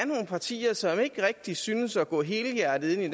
partier som ikke rigtig synes at gå helhjertet ind i